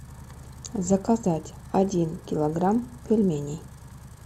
заказать один килограмм пельменей